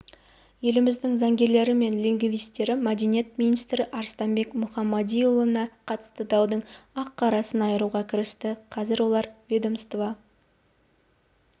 еліміздің заңгерлері мен лингвистері мәдениет министрі арыстанбек мұхамадиұлына қатысты даудың ақ-қарасын айыруға кірісті қазір олар ведомство